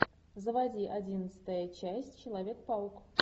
заводи одиннадцатая часть человек паук